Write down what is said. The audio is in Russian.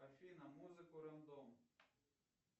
афина музыку рандом